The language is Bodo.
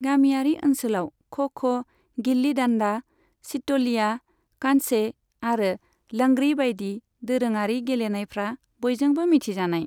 गामियारि ओनसोलाव ख' ख', गिल्ली डान्डा, सित'लिया, कंचे आरो लंगड़ी बायदि दोरोङारि गेलेनायफ्रा बयजोंबो मिथिजानाय।